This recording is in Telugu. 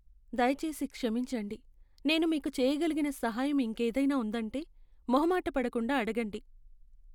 దయచేసి క్షమించండి! నేను మీకు చేయగలిగిన సహాయం ఇంకేదైనా ఉందంటే, మొహమాటపడకుండా అడగండి.